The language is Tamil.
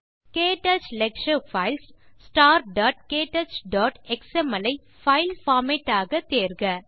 க்டச் லெக்சர் பைல்ஸ் starktouchஎக்ஸ்எம்எல் ஐ பைல் பார்மேட் ஆக தேர்க